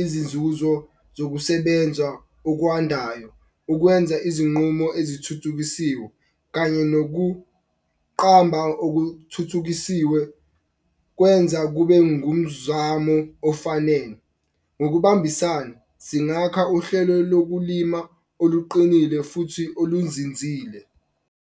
izinzuzo zokusebenzwa okwandayo. Ukwenza izinqumo ezithuthukisiwe kanye nokuqamba okuthuthukisiwe kwenza kube ngumzamo ofanele. Ngokubambisana singaka uhlelo lokulima oluqinile futhi olunzinzile.